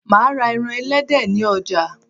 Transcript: Máa ra eran elédè ni ojà